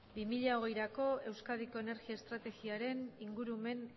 bi mila hogeirako euskadiko energia estrategiaren ingurumen